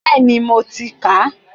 Bẹ́ẹ̀ni mo ti kà á